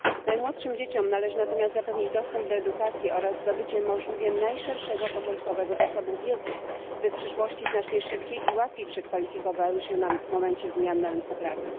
Najmłodszym dzieciom należy natomiast zapewnić dostęp do edukacji oraz zdobycie możliwie najszerszego początkowego zasobu wiedzy, by przyszłości znacznie szybciej i łatwiej przekwalifikowywały się w momencie zmian na rynku pracy.